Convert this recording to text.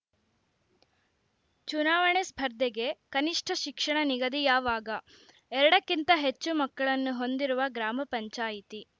ಚುನಾವಣೆ ಸ್ಪರ್ಧೆಗೆ ಕನಿಷ್ಠ ಶಿಕ್ಷಣ ನಿಗದಿ ಯಾವಾಗ ಎರಡಕ್ಕಿಂತ ಹೆಚ್ಚು ಮಕ್ಕಳನ್ನು ಹೊಂದಿರುವ ಗ್ರಾಮ ಪಂಚಾಯಿತಿ